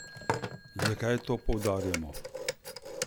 Zakaj to poudarjamo?